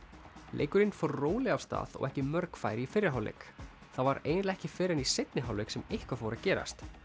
leikurinn fór rólega af stað og ekki mörg færi í fyrri hálfleik það var eiginlega ekki fyrr en í seinni hálfleik sem eitthvað fór að gerast